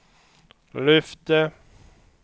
lyfte